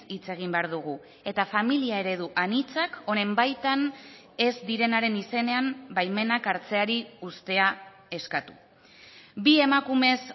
hitz egin behar dugu eta familia eredu anitzak honen baitan ez direnaren izenean baimenak hartzeari uztea eskatu bi emakumez